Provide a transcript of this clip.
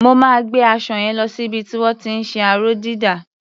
Mo máa gbé aṣọ yẹn lo sí ibi tí wọ́n ti ń ṣe aró-dídà.